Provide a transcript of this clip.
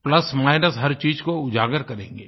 plus minus हर चीज़ को उजागर करेंगे